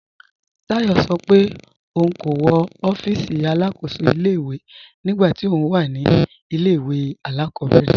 Táyọ̀ sọ́ pé óun kò wọ́ òfíìsí alákóṣò ilẹ̀-ìwé nígbà tí óun wà ní ilẹ̀-ìwé alákọ̀bẹ̀rẹ̀